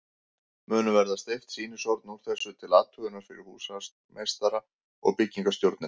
Munu verða steypt sýnishorn úr þessu til athugunar fyrir húsameistara og byggingarstjórnina.